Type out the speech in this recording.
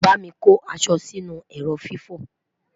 bámi kò aṣọ Si inú ẹrọ fifo